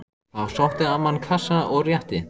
Þá sótti amman kassa og rétti